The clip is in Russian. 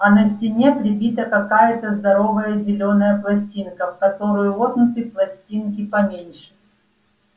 а на стене прибита какая-то здоровая зелёная пластинка в которую воткнуты пластинки поменьше